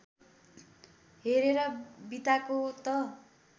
हेरेर बिताको त